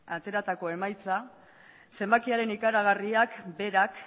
ateratako emaitza zenbakiaren ikaragarriak berak